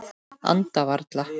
Anda varla.